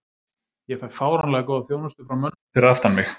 Ég fæ fáránlega góða þjónustu frá mönnunum fyrir aftan mig.